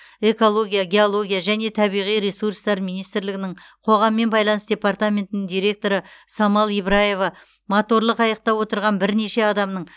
экология геология және табиғи ресурстар министрлігінің қоғаммен байланыс департаментінің директоры самал ибраева моторлы қайықта отырған бірнеше адамның